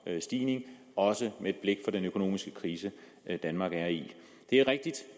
stigning også med et blik på den økonomiske krise danmark er i det er rigtigt